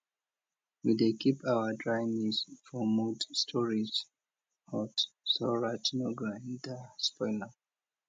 we dey keep our dry maize for mud storage hut so rat no go enter spoil am